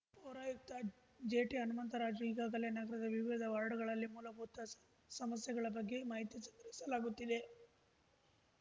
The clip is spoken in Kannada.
ಪೌರಾಯುಕ್ತ ಜೆಟಿಹನುಮಂತರಾಜು ಈಗಾಗಲೇ ನಗರದ ವಿವಿಧ ವಾರ್ಡ್‌ಗಳಲ್ಲಿ ಮೂಲಭೂತ ಸ ಸಮಸ್ಯೆಗಳ ಬಗ್ಗೆ ಮಾಹಿತಿ ಸಂಗ್ರಹಿಸಲಾಗುತ್ತಿದೆ